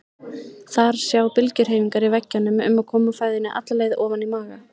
Þar sjá bylgjuhreyfingar í veggjunum um að koma fæðunni alla leið ofan í maga.